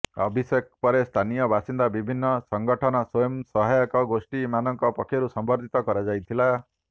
ଅଭିଷେକ ପରେ ସ୍ଥାନୀୟ ବାସିନ୍ଦା ବିଭିନ୍ନ ସଙ୍ଗଠନ ସ୍ୱୟଂ ସହାୟକ ଗୋଷ୍ଠୀ ମାନଙ୍କ ପକ୍ଷରୁ ସମ୍ବର୍ଦ୍ଧିତ କରାଯାଇଥିଲା